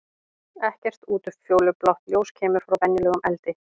Ekkert útfjólublátt ljós kemur frá venjulegum eldi.